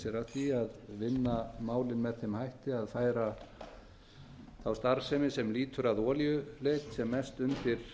því að vinna málið með þeim hætti að færa þá starfsemi sem lýtur að olíuleit sem mest undir